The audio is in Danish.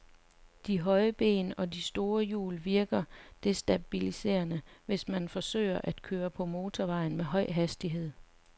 De høje ben og de store hjul virker destabiliserende, hvis man forsøger at køre på motorvejen med høj hastighed.